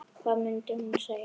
Hvað mundi hún segja?